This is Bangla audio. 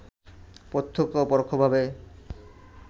প্রত্যক্ষ ও পরোক্ষভাবে